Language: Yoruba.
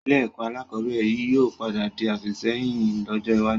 Ilé ẹ̀kọ́ alakọ̀bẹ́ẹ́rẹ̀ yìí ó padà di àfìsẹ́yìn lọ́jọ́ iwájú